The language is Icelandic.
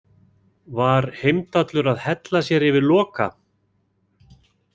Var Heimdallur að hella sér yfir Loka?